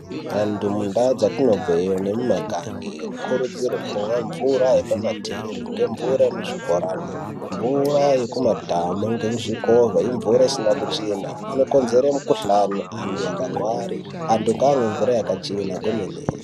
Antu mundau dzatinobveyo nemumagange anokurudzirwe kumwa mvura yapama tepi, ngemvura yemuzvibhorani, mvura yekumadhamu ngezvikovha imvura isina kuchena. Inokonzere mukuhlani antu akagware vantu ngavamwe mura yakachena kwemene.